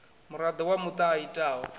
muraḓo wa muṱa a itaho